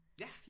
Ja